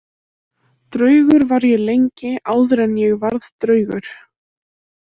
Draugur var ég lengi áður en ég varð draugur.